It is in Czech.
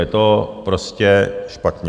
Je to prostě špatně.